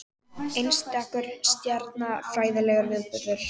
Einstakur stjarnfræðilegur viðburður